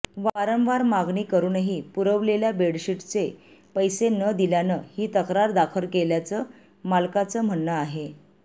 वारंवार मागणी करूनही पुरवलेल्या बेडशिट्सचे पैसे न दिल्यानं ही तक्रार दाखल केल्याचं मालकाचं म्हणणं आहे